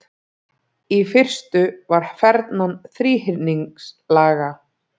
Í fyrstu var fernan þríhyrningslaga.